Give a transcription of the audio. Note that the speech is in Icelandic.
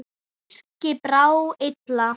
Birki brá illa.